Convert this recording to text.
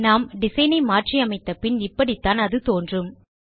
நாம் டிசைன் ஐ மாற்றி அமைத்த பின் இப்படித்தான் அது தோன்றும்